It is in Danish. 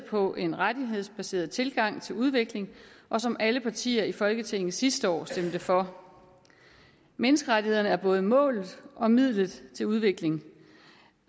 på en rettighedsbaseret tilgang til udvikling og som alle partier i folketinget sidste år stemte for menneskerettighederne er både målet og midlet til udvikling